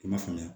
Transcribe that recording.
I ma faamuya